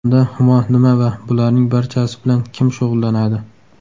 Unda Humo nima va bularning barchasi bilan kim shug‘ullanadi?